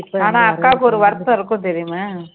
ஆனா அக்காவுக்கு ஒரு வருத்தம் இருக்கும் தெரியுமா